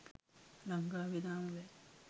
ලංකාවේ තාම බෑ